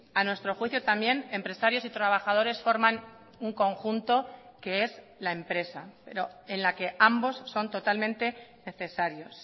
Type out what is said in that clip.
a nuestro juicio también empresarios y trabajadores forman un conjunto que es la empresa pero en la que ambos son totalmente necesarios